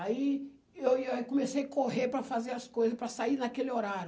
Aí eu ia comecei a correr para fazer as coisas, para sair naquele horário.